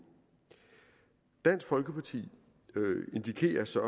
dansk folkeparti indikerer så